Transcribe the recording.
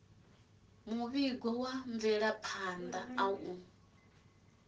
muvhigo wa mvelaphan ḓa u